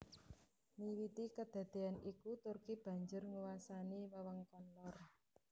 Miwiti kadadéyan iku Turki mbanjur nguwasani wewengkon lor